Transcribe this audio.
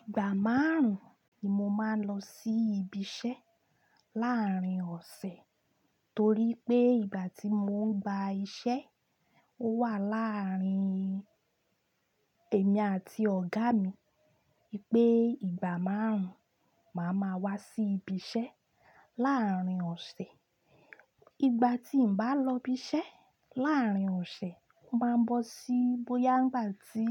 Ìgbà márùn-ún ni mo máa ń lọ sí ibi iṣẹ́ láàárín ọ̀sẹ̀ torí pé ìgbà tí mò ń gba iṣẹ́, ó wà láàárín èmi àti ọ̀gá mi pé ìgbà márùn-ún màá ma wá sí ibi iṣẹ́ láàárín ọ̀sẹ̀. Ìgbà tí n bá lọ ibi iṣẹ́ láàárín ọ̀sẹ̀, ó máa ń bọ́ sí bóyá ìgbà tí